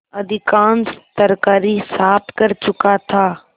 अधिकांश तरकारी साफ कर चुका था